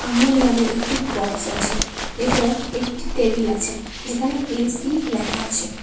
মূল নামে একটি বক্স আছে এবং একটি টেবিল আছে যেখানে এ_সি লেখা আছে।